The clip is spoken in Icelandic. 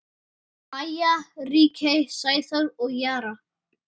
Maja, Ríkey, Sæþór og Jara.